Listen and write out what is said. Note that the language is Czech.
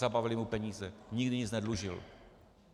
Zabavili mu peníze, nikdy nic nedlužil.